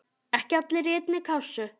Ekki allir í einni kássu!